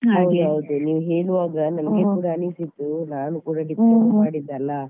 ಹೌದೌದು, ನೀವು ಹೇಳುವಾಗ ನನ್ಗೆ ಕೂಡ ಅನಿಸಿತು ನಾನು ಕೂಡ diploma ಮಾಡಿದ್ದಲ್ಲ